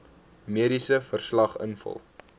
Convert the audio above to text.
mediese verslag invul